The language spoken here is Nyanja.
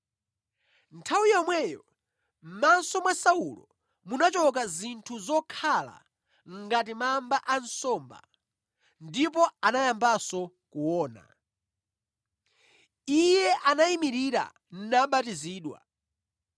Nthawi yomweyo mʼmaso mwa Saulo munachoka zinthu zokhala ngati mamba ansomba, ndipo anayambanso kuona. Iye anayimirira nabatizidwa,